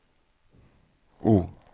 O